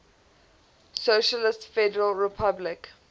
socialist federal republic